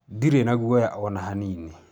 Ndiri na guoya ona hanini